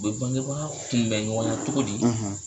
U bɛ bangebaga kunbɛn ɲɔgɔn na cogo di.